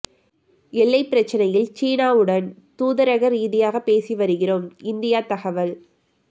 எல்லை பிரச்சினையில் சீனாவுடன் தூதரக ரீதியாக பேசி வருகிறோம் இந்தியா தகவல்